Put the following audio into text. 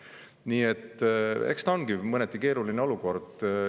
Nii et eks ta ongi mõneti keeruline olukord.